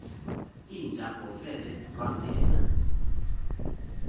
inja ngofele lwangena